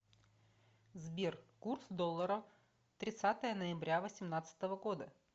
сбер курс доллара тридцатое ноября восемнадцатого года